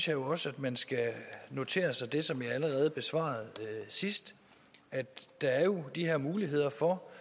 jo også at man skal notere sig det som jeg allerede svarede sidst at der jo de her muligheder for